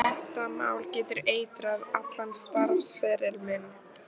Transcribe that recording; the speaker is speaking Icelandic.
Þetta mál getur eitrað allan starfsferil minn.